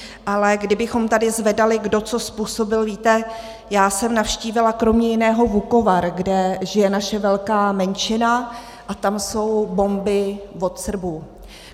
Ale kdybychom tady zvedali, kdo co způsobil - víte, já jsem navštívila kromě jiného Vukovar, kde žije naše velká menšina, a tam jsou bomby od Srbů.